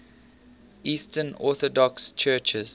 eastern orthodox churches